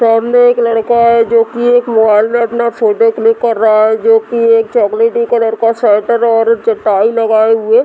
सामने एक लड़का है जो की एक मॉल में अपना फोटो क्लिक कर रहा है जो की एक चोकोलेटी कलर का स्वेटर और टाई लगाए हुए --